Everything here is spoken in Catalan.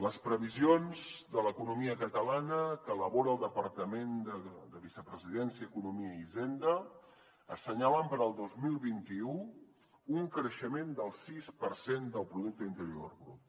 les previsions de l’economia catalana que elabora el departament de vicepresidència economia i hisenda assenyalen per al dos mil vint u un creixement del sis per cent del producte interior brut